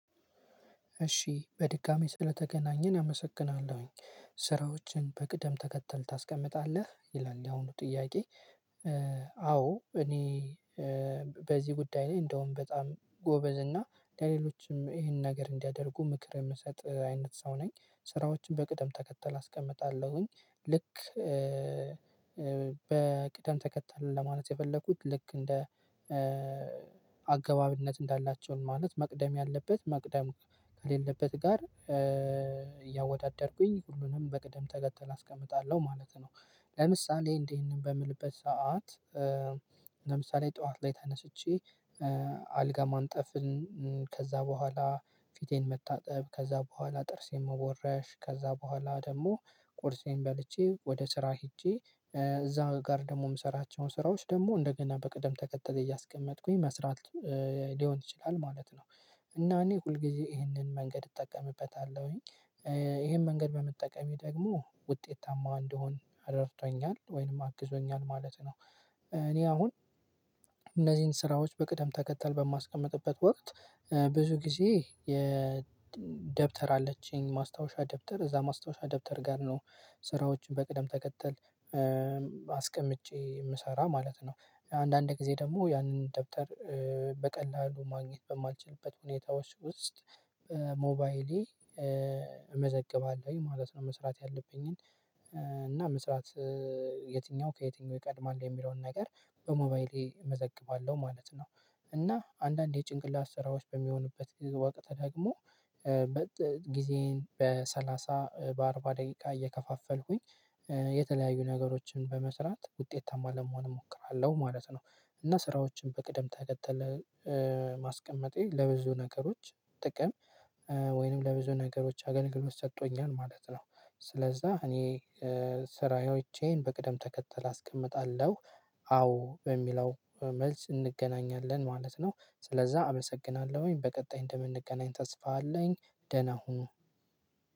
እሺ በድጋሚ ስለተገናኘን አመሰግናለሁኝ ስራዎችን በቅደም ተከተል ታስቀምጣለህ ይላል ያሁኑ ጥያቄ? አዎ እኔ በዚህ ጉዳይ ላይ እንደውም በጣም ጎበዝ እና ለሌሎችም ይሄንን ነገር እንዲያደርጉ ምክር የምሰጥ አይነት ሰው ነኝ ስራዎችን በቅጠም ተከተል አስቀምጣለሁኝ ልክ በቅደም ተከተል ለማለት የፈለኩት ልክ እንደ አገባብነት እንዳላቸውም ማለት መቅደም ያለበት መቅደም ከሌለበት ጋር እያወዳደርኩኝ ሁሉንም በቅደም ተገተል አስቀምጣለሁ ማለት ነው። ለምሳሌ እንዲህ ይሄንን በምልበት ሰዓት ለምሳሌ ጠዋት ላይ ተነስቼ አልጋ ማንጠፍን ከዛ በኋላ ፊቴን መታጠብ ከዛ በኋላ ጥርሴን መቦረሽ ከዛ በኋላ ደግሞ ቁርሴን በልቼ ወደ ስራ ሄጄ እዛ ጋር ደግሞ የምሰራቸውን ስራዎች ደግሞ እንደገና በቅደም ተከተል እያስቀመጥኩኝ መስራት ሊሆን ይችላል ማለት ነው። እና እኔ ሁልጊዜ ይህንን መንገድ እጠቀምበታለሁኝ ይሄን መንገድ በመጠቀሜ ደግሞ ውጤታማ እንድሆን ረድቶኛል ወይንም አግዞኛል ማለት ነው። እኔ አሁን እነዚህን ስራዎች በቅደም ተከተል በማስቀምጥበት ወቅት ብዙ ጊዜ የደብተር አለችኝ ማስታወሻ ደብተር እዛ ማስታወሻ ደብተር ጋር ነው ስራዎችን በቅደም ተከተል አስቀምጬ የምሰራ ማለት ነው። አንዳንድ ጊዜ ደግሞ ያንን ደብተር በቀላሉ ማግኘት በማልችልበት ሁኔታዎች ውስጥ ሞባይሌ እመዘግባለሁ ማለት ነው መስራት ያለብኝን እና መስራት የትኛው ከየትኛው ይቀድማል የሚለውን ነገር በሞባይሌ እመዘግባለሁ ማለት ነው። እና አንዳንዴ የጭንቅላት ስራዎች በሚሆኑበት ወቅት ደግሞ በጥ ጊዜን በሰላሳ በአርባ ደቂቃ እየከፋፈልኩኝ የተለያዩ ነገሮችን በመስራት ውጤታማ ለመሆን እሞክራለሁ ማለት ነው። እና ስራዎችን በቅደም ተከተለ ማስቀመጤ ለብዙ ነገሮች ጥቅም ወይንም ለብዙ ነገሮች አገልግሎት ሰጥቶኛል ማለት ነው ስለዛ እኔ ስራዬዎቼን በቅደም ተከተል አስቀምጣለሁ። አዎ በሚለው መልስ እንገናኛለን ማለት ነው ስለዛ አመሰግናለሁኝ በቀጣይ እንደምንገናኝ ተስፋ አለኝ። ደህና ሁኑ።